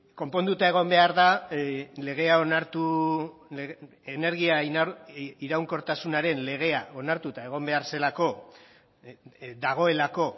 konponduta egon behar da legea onartu energia iraunkortasunaren legea onartuta egon behar zelako dagoelako